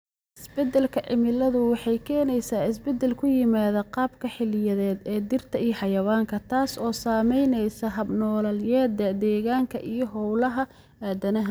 Isbeddelka cimiladu waxay keenaysaa isbeddel ku yimaadda qaababka xilliyeed ee dhirta iyo xayawaanka, taas oo saamaysa hab-nololeedyada deegaanka iyo hawlaha aadanaha.